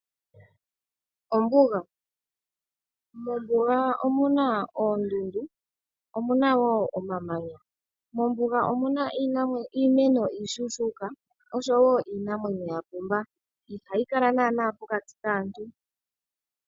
Mombuga omuna oondundu, omuna wo omamanya. Mombuga omuna iimeno iishushuka oshowo iinamwenyo ya pumba , ihayi kala naana pokati kaantu.